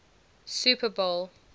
super bowl